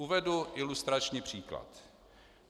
Uvedu ilustrační příklad.